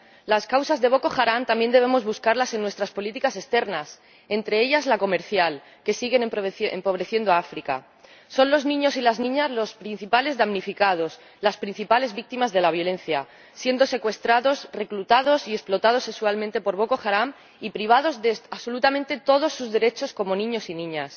Las causas de Boko Haram también debemos buscarlas en nuestras políticas externas, entre ellas la comercial, que siguen empobreciendo a África. Son los niños y las niñas los principales damnificados, las principales víctimas de la violencia, pues son secuestrados, reclutados y explotados sexualmente por Boko Haram y privados de absolutamente todos sus derechos como niños y niñas.